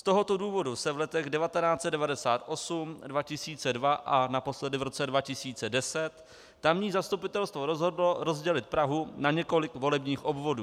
Z tohoto důvodu se v letech 1998, 2002 a naposledy v roce 2010 tamní zastupitelstvo rozhodlo rozdělit Prahu na několik volebních obvodů.